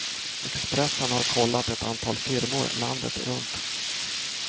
Expressen har kollat ett antal firmor landet runt.